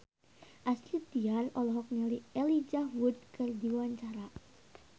Astrid Tiar olohok ningali Elijah Wood keur diwawancara